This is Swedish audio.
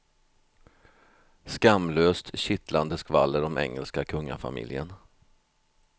Skamlöst, kittlande skvaller om engelska kungafamiljen.